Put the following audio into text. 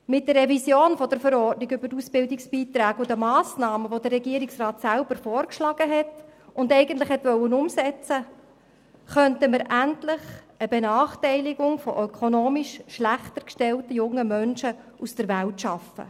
Mit der Revision ABV und den vom Regierungsrat selber vorgeschlagenen Massnahmen, die er eigentlich umsetzen wollte, könnten wir endlich eine Benachteiligung ökonomisch schlechter gestellter junger Menschen aus der Welt schaffen.